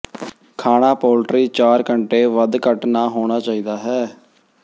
ਖਾਣਾ ਪੋਲਟਰੀ ਚਾਰ ਘੰਟੇ ਵੱਧ ਘੱਟ ਨਾ ਹੋਣਾ ਚਾਹੀਦਾ ਹੈ